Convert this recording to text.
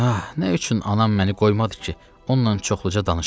Ah, nə üçün anam məni qoymadı ki, onunla çoxluca danışam?